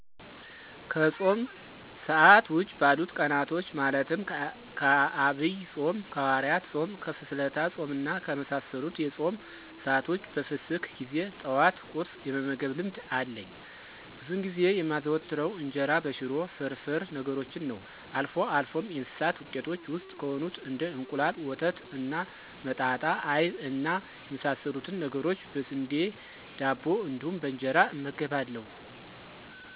ከፆም ሰአት ውጪ ባሉት ቀናቶች ማለትም ከአብይ ፆም፣ ከሀዋርያት ፆም፣ ከፍስለታ ፆም እና ከመሳሰሉት የፆም ሰአት ውጭ በፍስክ ጊዜ ጠዋት ቁርስ የመመገብ ልምድ አለኝ። ብዙውን ጊዜ የማዘወትረው እንጀራ በሽሮ፣ ፍርፍር ነገሮችን ነዉ። አልፎ አልፎም የእንስሳት ውጤቶች ውስጥ ከሆኑት እንደ እንቁላል፣ ወተት እና መጣጣ አይብ እና የመሳሰሉትን ነገሮች በስንዴ ዳቦ እንዲሁም በእንጀራ እመገባለሁ።